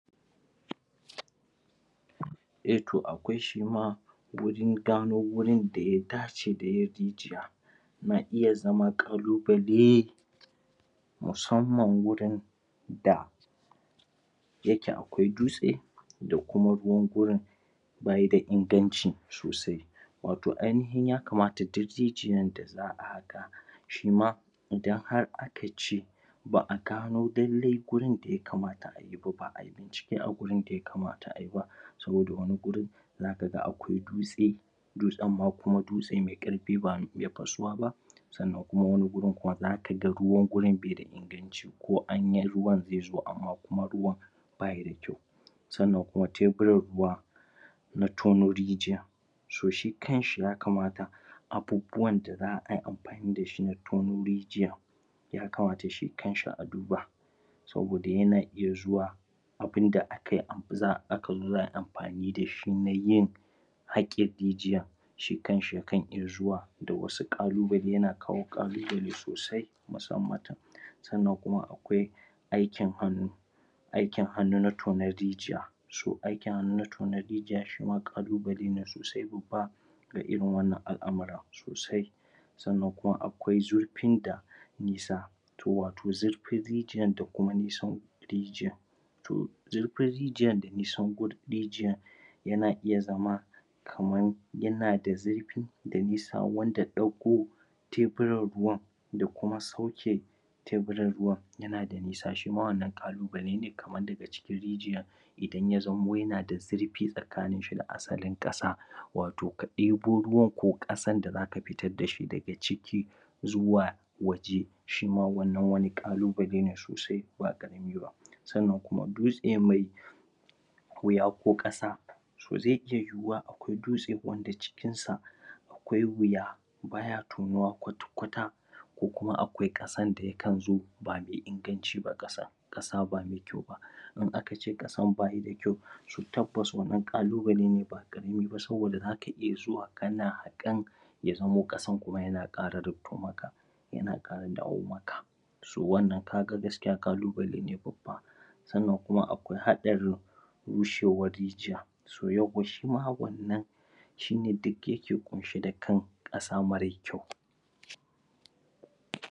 Eh, to akwai shi ma wajen gano wurin da ya dace da yin rijiya na iya zama ƙalubale musamman wurin da yake akwai dutse da kuma ruwan gurin bayi da inganci sosai wato ainihin yakamata duk rijiyan da za'a haƙa shi ma idan har aka ce ba'a gano lallai gurin da yakamata a yi ba'a yi cike a gurin da yakamata a yi ba saboda wani gurin zaka ga akwai dutse dutsen ma kuma dutse mai ƙarfi ba mai iya fasuwa ba sannan kuma wani gurin kuma zaka ga ruwan gurin bai da inganci ko an yi ruwan zai zo amma kuma ruwan bayi da kyau sannan kuma tebir ruwa na tono rijiya so shi kan shi yakamata abubuwan da za'a yi amfani da shi na tono rijiya yakamata shi kan shi a duba saboda yana iya zuwa abunda akai aka zo za ai amfani da shi na yin haƙin rijiya shi kan shi ya kan iya zuwa da wasu ƙalubale, yana kawo ƙalubale sosai musamman ta sannan kuma akwai aikin hannu aikin hannu na tonon rijiya, so aikin hannu na tonon rijiya shi ma ƙalubale ne sosai babba ga irin wannan al'amarin sosai sannan kuma akwai zurfin da nisa to wato zurfin rijiyan da kuma nisan rijiyan to zurfin rijiyan da nisan gurin rijiyan yana iya zama kaman yana da zurfi da nisa wanda ɗauko teburan ruwan da kuma sauke teburan ruwan yana da nisa shi ma wannan ƙalubale ne kaman daga cikin rijiyan idan ya zamo yana da zurfi tsakanin shi da asalin ƙasa wato ka ɗibo ruwan ko ƙasan da zaka fitar da shi daga ciki zuwa waje shi ma wannan wani ƙalubale ne sosai ba kaɗan ba sannan kuma dutse mai wuya ko ƙasa to zai iya yiwuwa akwai dutse wanda cikin sa akwai wuya baya tonuwa kwata-kwata ko kuma akwai ƙasan da yakan zo ba mai inganci ba ƙasan, ƙasa ba mai kyau ba in aka ce ƙasan bayi da kyau to tabbas wannan ƙalubale ne ba ƙarami ba saboda zaka iya zuwa kana haƙan ya zamo ƙasan kuma yana ƙara rufto maka yana ƙara dawo maka to wannan kaga gaskiya ƙalubale ne babba sannan kuma akwai haɗarin rushewar rijiya to yawwa shi ma wannan shi ne duk yake ƙunshe da kan ƙasa mara kyau.